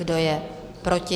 Kdo je proti?